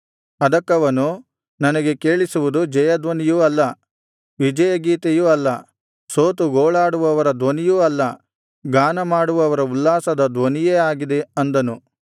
ಅದಕ್ಕವನು ನನಗೆ ಕೇಳಿಸುವುದು ಜಯ ಧ್ವನಿಯೂ ಅಲ್ಲ ವಿಜಯಗೀತೆಯೂ ಅಲ್ಲ ಸೋತು ಗೋಳಾಡುವವರ ಧ್ವನಿಯೂ ಅಲ್ಲ ಗಾನಮಾಡುವವರ ಉಲ್ಲಾಸದ ಧ್ವನಿಯೇ ಆಗಿದೆ ಅಂದನು